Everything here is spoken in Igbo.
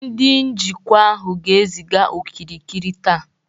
Ndị njikwa ahụ ga-eziga okirikiri taa